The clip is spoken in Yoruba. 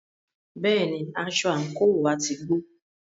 Bẹ́ẹ̀ni, aṣọ àńkò wá ti gbó.